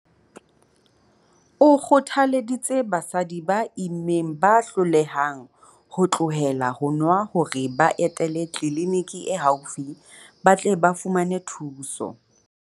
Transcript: O kgothaleditse basadi ba immeng ba hlolehang ho tlohela ho nwa hore ba etele tliliniki e haufi ba tle ba fumane thuso.